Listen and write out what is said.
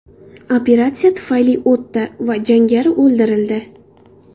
Operatsiya muvaffaqiyatli o‘tdi va jangari o‘ldirildi.